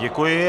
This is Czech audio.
Děkuji.